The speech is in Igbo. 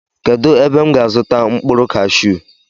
Kedụ ebe m ga azuta mkpụrụ kashuu?